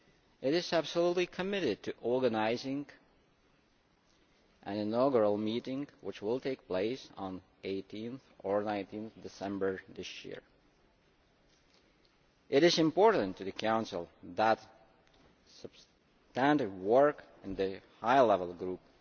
It is absolutely committed to organising an inaugural meeting which will take place on 18 or 19 December this year. It is important to the Council that standard work in the high level group